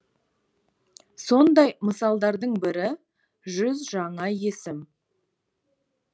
сондай мысалдардың бірі жүз жаңа есім